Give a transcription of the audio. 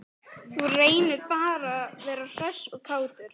Þú reynir bara að vera hress og kátur!